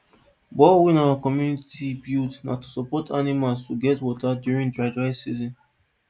borehole wey our community build na to support animals to get water during dry dry season